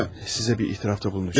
Sizə bir etirafda bulunmuşdum.